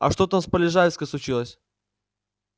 а что там с полежаевской случилось